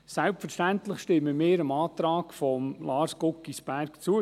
Selbstverständlich stimmen wir dem Antrag von Lars Guggisberg zu.